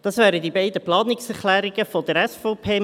Das wären die beiden Planungserklärungen der SVP.